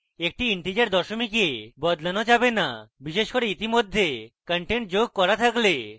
একটি integer দশমিককে বদলানো যাবে না বিশেষ করে ইতিমধ্যে content যোগ করলে থাকে